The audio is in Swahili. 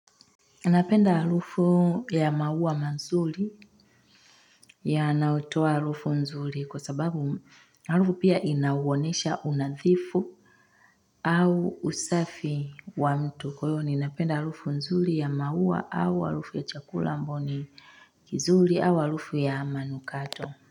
Anapenda harufu ya maua mazuri yanayo toa harufu nzuri kwa sababu harufu pia inawonesha unadhifu au usafi wa mtu. Kwa iyo, ninapenda harufu nzuri ya maua au harufu ya chakula ambayoni kizuri au harufu ya manukato.